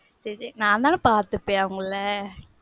சரி, நான் தான பாத்துர்க்கேன் அவங்கள